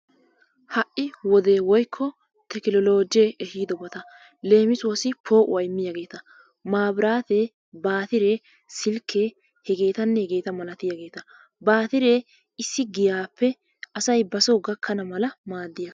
Ha'i wodee woyko tekinolojje ehidobattaa, lemisuwaassi po'uwaa imiyagettaa mabirtattee, battire, silke hegetanne hegettaa malatiyagetta, battree asay issi giyappe hara giyaa gakanawu madees.